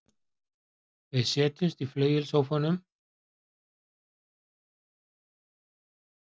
Við setjumst í flauelssófann með kaffi og konjak og hlustum á eitthvað fallegt.